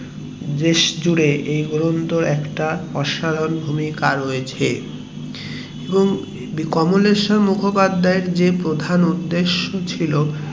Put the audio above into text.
দেশ জুড়ে এই গ্রন্থর একটা অসাধারণ ভূমিকা রয়েছে এবং কমলেশ্বর মুখোপাধ্যায় এর যে প্রধান উদেশ্য ছিল